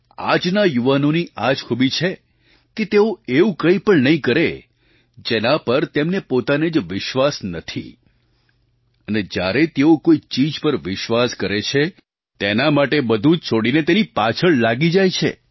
આજના યુવાઓની આ જ ખૂબી છે કે તેઓ એવું કંઈ પણ નહીં કરે જેના પર તેમને પોતાને જ વિશ્વાસ નથી અને જ્યારે તેઓ કોઈ ચીજ પર વિશ્વાસ કરે છે તો પછી તેના માટે બધું જ છોડીને તેની પાછળ લાગી જાય છે